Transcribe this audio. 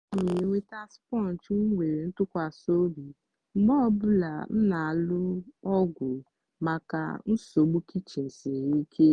a na m enweta sponge m nwere ntụkwasị obi mgbe ọ bụla m na-alụ ọgụ maka nsogbu kichin siri ike.